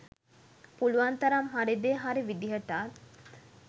පුලුවන් තරම් හරි දේ හරි විදිහටත්